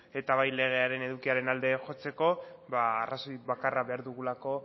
eta bai legearen edukiaren alde jotzeko arrazoi bakarra behar dugulako